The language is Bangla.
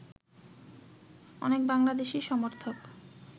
অনেক বাংলাদেশী সমর্থক